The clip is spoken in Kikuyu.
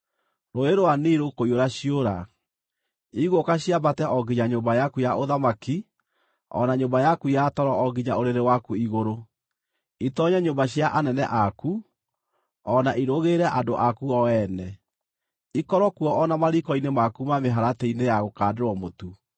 Rũũĩ rwa Nili rũkũiyũra ciũra. Igũũka ciambate o nginya nyũmba yaku ya ũthamaki o na nyũmba yaku ya toro o nginya ũrĩrĩ waku igũrũ, itoonye nyũmba cia anene aku, o na irũgĩrĩre andũ aku o ene, ikorwo kuo o na mariiko-inĩ maku na mĩharatĩ-inĩ ya gũkandĩrwo mũtu.